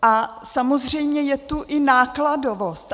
A samozřejmě je tu i nákladovost.